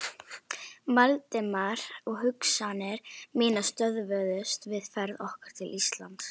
Valdimar, og hugsanir mínar stöðvuðust við ferð okkar til Íslands.